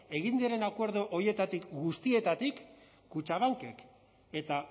egin diren acuerdo horietatik guztietatik kutxabankek eta